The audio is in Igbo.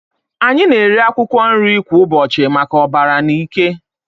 Anyị na-eri akwụkwọ nri kwa ụbọchị maka ọbara na ike.